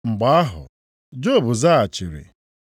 Mgbe ahụ, Job zaghachiri: